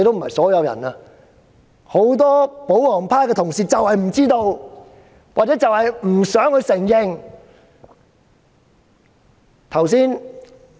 可是，很多保皇派的同事不知道或不想承認這一點。